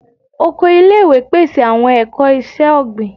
Oko ile-iwe pese awọn ẹkọ iṣẹ-ogbin